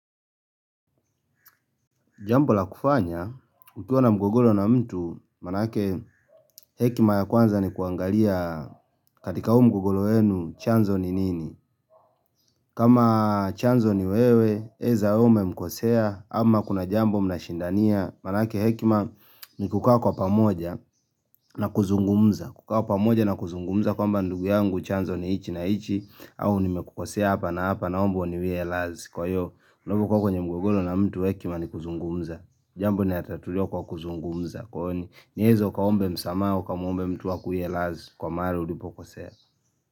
Jambo la kufanya, nikiwa na mgogoro na mtu, maanake hekima ya kwanza ni kuangalia katika huu mgogolo weenu chanzo ni nini. Kama chanzo ni wewe, eza ume mkosea, ama kuna jambo mnashindania, maanake hekima ni kukawa kwa pamoja na kuzungumza. Kukawa pamoja na kuzungumza kwa mba ndugu yangu chanzo ni chi na chi, au ni mekukosea hapa na hapa naombo uniwie radhi Kwa hiyo, unapokuwa kwenye mgogolo na mtu hekima ni kuzungumza Jambo ni hatatulio kwa kuzungumza Kwa hiyo, nyezo ukaombe msama, ukamwombe mtu akuwie radhi Kwa mahali ulipo kosea.